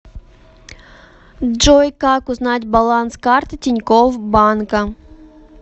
джой как узнать баланс карты тинькофф банка